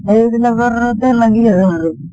সেইবিলাক ৰতে লাগি আছোঁ আৰু ।